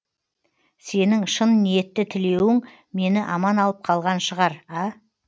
сенің шын ниетті тілеуің мені аман алып қалған шығар а